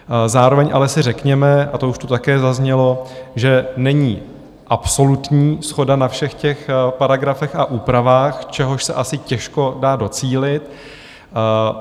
Zároveň ale si řekněme, a to už tu také zaznělo, že není absolutní shoda na všech těch paragrafech a úpravách, čehož se asi těžko dá docílit.